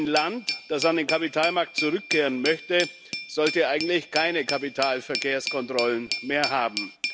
Ein Land, das an den Kapitalmarkt zurückkehren möchte, sollte ja eigentlich keine Kapitalverkehrskontrollen mehr haben.